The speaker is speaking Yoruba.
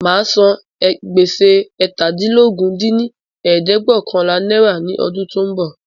Máa san gbèsè eétàdínlógún dín ní ẹ̀ẹ́dẹ́gbẹ́ọ̀kànlá náírà ní ọdún tí ó ń bọ̀